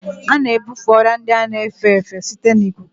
A na-ebufe ọrịa ndị a na-efe efe site na ikuku